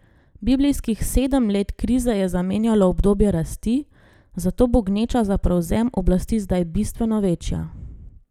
Biblijskih sedem let krize je zamenjalo obdobje rasti, zato bo gneča za prevzem oblasti zdaj bistveno večja.